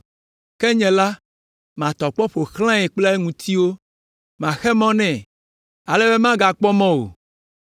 Ke nye la, matɔ kpɔ aƒo xlãe kple ŋutiwo; maxe mɔ nɛ, ale be magakpɔ mɔ o,